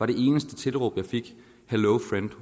det eneste tilråb jeg fik hello friend